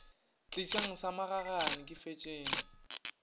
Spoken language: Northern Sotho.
tlišang sa magagane ke fetšeng